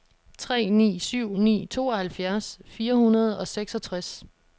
tre ni syv ni tooghalvfjerds fire hundrede og seksogtres